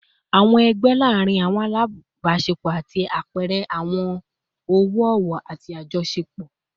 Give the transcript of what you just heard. Awọn ẹgbẹ laarin awọn alabaṣepọ ṣe apẹẹrẹ ọwọ-ọwọ ati ajọṣepọ